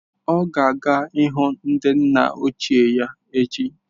Ọ ga-aga ịhụ ndi nna ochie ya echi.